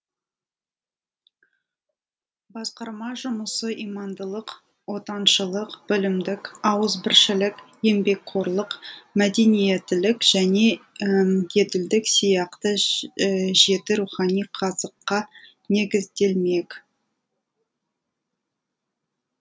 басқарма жұмысы имандылық отаншылық білімділік ауызбіршілік еңбекқорлық мәдениеттілік және әділдік сияқты жеті рухани қазыққа негізделмек